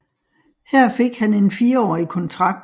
Her fik han en firårig kontrakt